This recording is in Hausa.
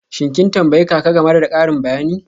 Shin kin tambayi kaka game da karin magana?